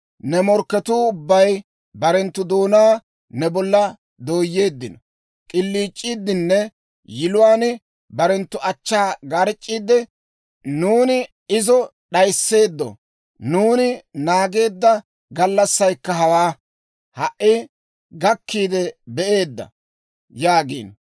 Ne morkketuu ubbay barenttu doonaa ne bolla dooyeeddino; k'iliic'iiddinne yiluwaan barenttu achchaa garc'c'iidde, «Nuuni izo d'ayisseeddo! Nuuni naageedda gallassaykka hawaa; ha"i gakkiide be'eedda!» yaagiino.